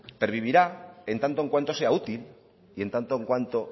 pervivirá en tanto en cuanto sea útil y en tanto en cuanto